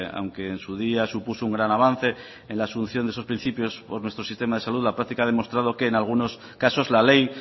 aunque en su día supuso un gran avance en la asunción de esos principios por nuestro sistema de salud la práctica ha demostrado que en algunos casos la ley